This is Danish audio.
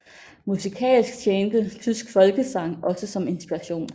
Musikalsk tjente tysk folkesang også som inspiration